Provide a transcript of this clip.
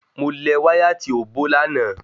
Mo lẹ̀ wáyà tí ó bó lànà